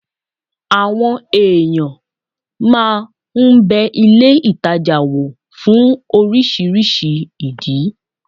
Àwọn èèyàn máa n bẹ ilé ìtajà wò fún oríṣiríṣi ìdí